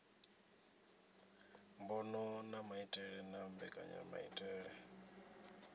mbono a maitele na mbekanyamaitele